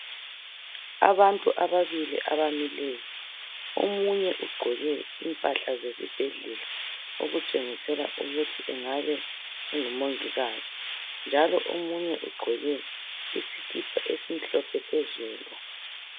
Abantu ababili abamileyo, omunye ugqoke impahla zesibhedlela, okutshengisela ukuthi engabe engumongikazi njalo omunye ugqoke isikipa esimhlophe phezulu.